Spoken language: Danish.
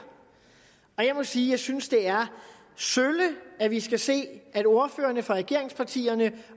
jeg må sige at jeg synes det er sølle at vi skal se at ordførerne fra regeringspartierne